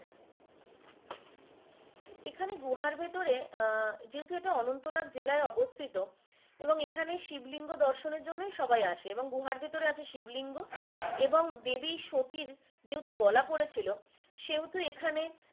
এখানে গুহার ভিতরে আহ যেহেতু এটা অনন্তনাগ জেলায় অবস্থিত এবং এখানে শিবলিঙ্গ দর্শনের জন্য সবাই আসে এবং গুহার ভিতরে আছে শিবলিঙ্গ এবং দেবী সতীর যেহেতু গলা পরেছিলো সে হেতু এখানে।